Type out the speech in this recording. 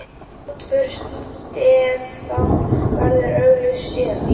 Útför Stefán verður auglýst síðar.